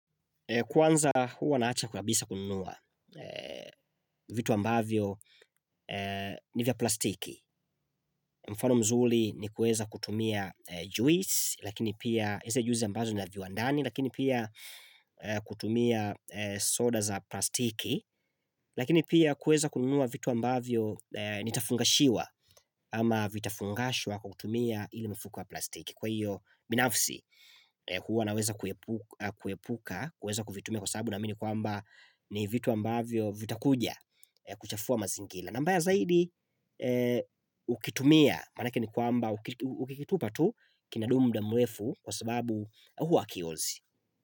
Kwanza huwa naacha kuabisa kununua vitu ambavyo ni vya plastiki. Mfano mzuri ni kueza kutumia juisi, lakini pia zile juisi ambazo ni za wiwandani, lakini pia kutumia soda za plastiki, lakini pia kueza kununua vitu ambavyo nitafungashiwa ama vitafungashwa kwa kutumia ile mifuko ya plastiki. Kwa hiyo binafsi huwa naweza kuepuka kuweza kuvitumia kwa sabu naamini kwamba ni vitu ambavyo vitakuja kuchafua mazingila na mbaya zaidi ukitumia manake ni kwamba ukikitupa tu kinadumu muda mrefu kwa sababu huwa akiozi.